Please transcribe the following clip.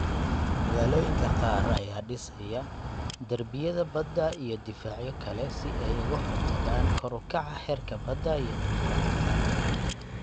Magaalooyinka qaar ayaa dhisaya darbiyada badda iyo difaacyo kale si ay uga hortagaan kor u kaca heerka badda iyo duufaanada.